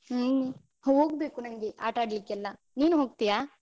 ಹ್ಮ್ ಹೋಗ್ಬೇಕು ನಂಗೆ ಆಟ ಆಡ್ಲಿಕ್ಕೆಲ್ಲ, ನೀನು ಹೋಗ್ತೀಯಾ?